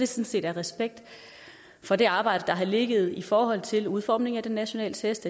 set af respekt for det arbejde der har ligget i forhold til udformningen af de nationale test